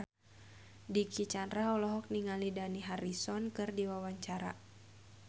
Dicky Chandra olohok ningali Dani Harrison keur diwawancara